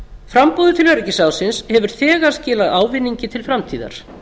framboðið til öryggisráðsins hefur þegar skilað ávinningi til framtíðar